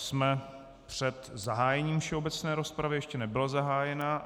Jsme před zahájením všeobecné rozpravy, ještě nebyla zahájena.